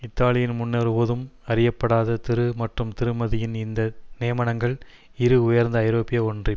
இத்தாலியின் முன்னொருபோதும் அறியப்படாத திரு மற்றும் திருமதியின் இந்த நியமனங்கள் இரு உயர்ந்த ஐரோப்பிய ஒன்றி